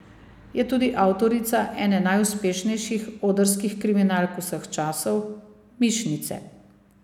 Je tudi avtorica ene najuspešnejših odrskih kriminalk vsej časov, Mišnice.